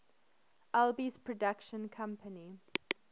alby's production company